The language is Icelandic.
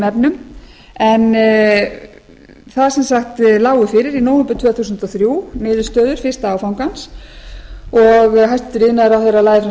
efnum en það sem sagt lágu fyrir í nóvember tvö þúsund og þrjú niðurstöður fyrsta áfangans og hæstvirtur iðnaðarráðherra lagði fram